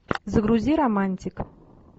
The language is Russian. загрузи романтик